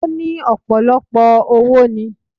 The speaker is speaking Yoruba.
Ó ní ọ̀pọ̀lọpọ̀ owo ni